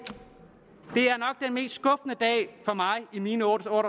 mest skuffende for mig i mine år